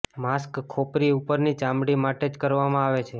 mask ખોપરી ઉપરની ચામડી માટે જ કરવામાં આવે છે